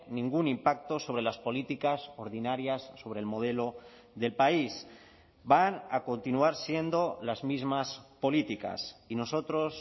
ningún impacto sobre las políticas ordinarias sobre el modelo del país van a continuar siendo las mismas políticas y nosotros